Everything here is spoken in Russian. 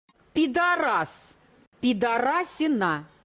пидорас пидорасина